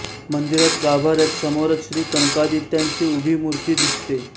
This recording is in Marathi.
मंदिरात गाभाऱ्यात समोरच श्री कनकादित्याची उभी मूर्ती दिसते